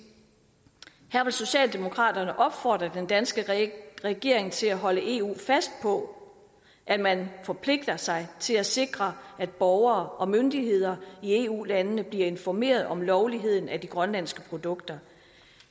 her vil socialdemokraterne opfordre den danske regering til at holde eu fast på at man forpligter sig til at sikre at borgere og myndigheder i eu landene bliver informeret om lovligheden af de grønlandske produkter